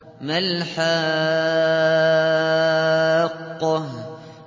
مَا الْحَاقَّةُ